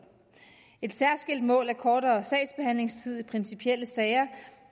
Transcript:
et særskilt mål er kortere sagsbehandlingstid i principielle sager